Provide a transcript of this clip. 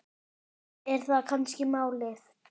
Er það kannski málið?